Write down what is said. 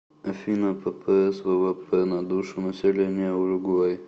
афина ппс ввп на душу населения уругвай